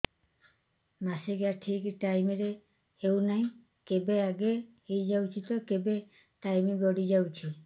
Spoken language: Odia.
ମାସିକିଆ ଠିକ ଟାଇମ ରେ ହେଉନାହଁ କେବେ ଆଗେ ହେଇଯାଉଛି ତ କେବେ ଟାଇମ ଗଡି ଯାଉଛି